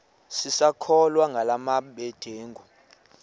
sisakholwa ngala mabedengu